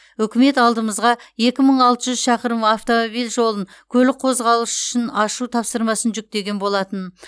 үкімет алдымызға екі мың алты жүз шақырым автомобиль жолын көлік қозғалысы үшін ашу тапсырмасын жүктеген болатын